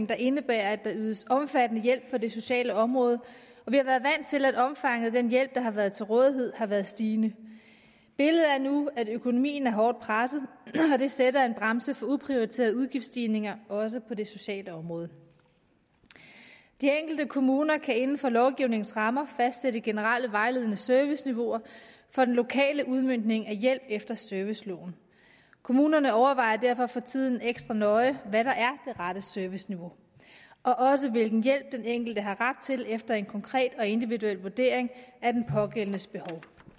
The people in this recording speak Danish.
der indebærer at der ydes omfattende hjælp på det sociale område og vi har været vant til at omfanget af den hjælp der har været til rådighed har været stigende billedet er nu at økonomien er hårdt presset og det sætter en bremse for uprioriterede udgiftsstigninger også på det sociale område de enkelte kommuner kan inden for lovgivningens rammer fastsætte generelle vejledende serviceniveauer for den lokale udmøntning af hjælp efter serviceloven kommunerne overvejer derfor for tiden ekstra nøje hvad der er det rette serviceniveau og også hvilken hjælp den enkelte har ret til efter en konkret og individuel vurdering af den pågældendes behov